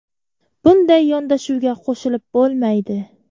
Bunday yondashuvga qo‘shilib bo‘lmaydi.